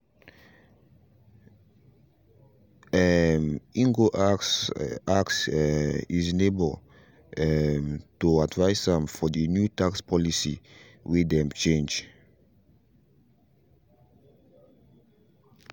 um he go ask ask um his neighbor um to advice am fr the new tax policy way them change